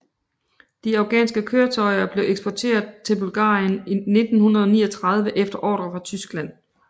De afghanske køretøjer blev eksporteret til Bulgarien i 1939 efter ordre fra Tyskland